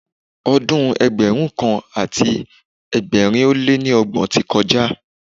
Ọdún Ẹgbẹ̀rún kan àti ẹgbẹ̀rin ó lé ní ọgbọ̀n ti kọjá.